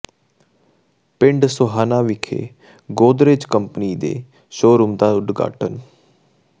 ਪਿੰਡ ਸੋਹਾਣਾ ਵਿਖੇ ਗੋਦਰੇਜ ਕੰਪਨੀ ਦੇ ਸ਼ੋਅਰੂਮ ਦਾ ਉਦਘਾਟਨ